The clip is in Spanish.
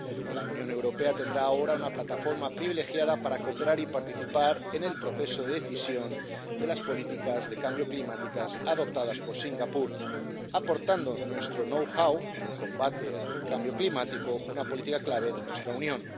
La Unión Europea tendrá ahora una plataforma privilegiada para cooperar y participar en el proceso de decisión de las políticas de cambio climático adoptadas por Singapur, aportando nuestro know how en el combate al cambio climático, una política clave de nuestra Unión.